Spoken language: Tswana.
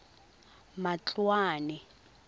matloane